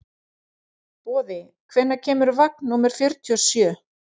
Boði, hvenær kemur vagn númer fjörutíu og sjö?